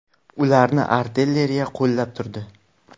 Ularni artilleriya qo‘llab turdi.